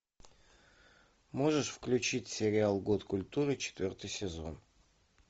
можешь включить сериал год культуры четвертый сезон